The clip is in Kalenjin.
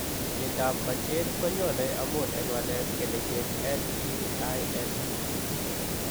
Myondap majeed konyoone amun en walet en keneyeek LPIN2.